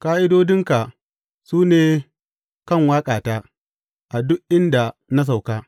Ƙa’idodinka su ne kan waƙata a duk inda na sauka.